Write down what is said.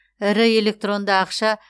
ірі электронды ақша